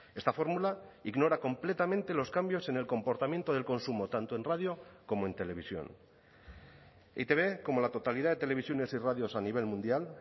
esta fórmula ignora completamente los cambios en el comportamiento del consumo tanto en radio como en televisión e i te be como la totalidad de televisiones y radios a nivel mundial